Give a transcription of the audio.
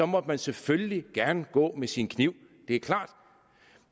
måtte man selvfølgelig gerne gå med sin kniv det er klart